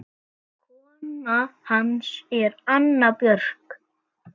Kona hans er Anna Björg